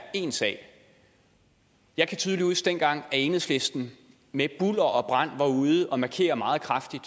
én sag jeg kan tydeligt huske dengang enhedslisten med bulder og brand var ude og markere meget kraftigt